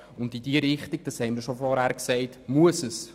In diese Richtung muss es im Kanton Bern gehen.